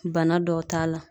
Bana dɔw t'a la